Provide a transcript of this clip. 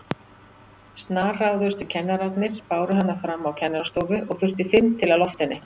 Snarráðustu kennararnir báru hana fram á kennarastofu og þurfti fimm til að lofta henni.